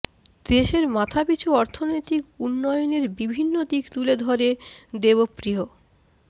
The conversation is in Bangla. দেশের মাথাপিছু অর্থনৈতিক উন্নয়নের বিভিন্ন দিক তুলে ধরে দেবপ্রিয়